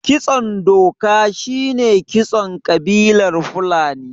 Kitson doka shine kitson ƙabilar fulani